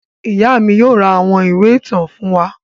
Ìyá mi yóò ra àwọn ìwé ìtàn fún wa.